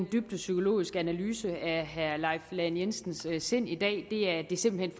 dybt psykologisk analyse af herre leif lahn jensens sind i dag det er det simpelt